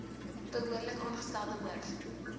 behoorlik aangestelde hoof